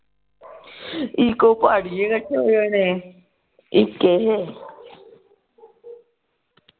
ਇਕ ਉਹ ਪਾੜੀਏ ਰੱਖਿਆ ਹੋਇਆ ਨੇ ਇਕ ਇਹ